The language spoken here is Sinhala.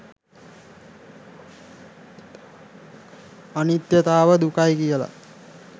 අනිත්‍යතාව දුකයි කියලා